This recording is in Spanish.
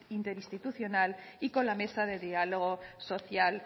interinstitucional y con la mesa de diálogo social